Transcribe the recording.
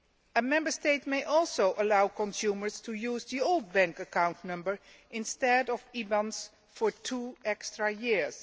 A Member State may also allow consumers to use their old bank account number instead of IBANs for two extra years.